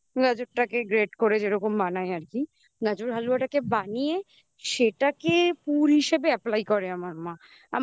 গাজরটাকে great করে যেরকম বানায় আর কি গাজরের হালুয়াটাকে বানিয়ে সেটাকে পুর হিসেবে apply করে আমার মা